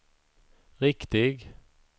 riktig